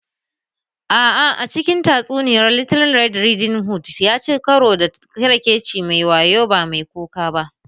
A'a, a cikin tatsuniya, Little Red Riding Hood ya ci karo da ƙyerkeci mai wayo, ba mai kuka ba.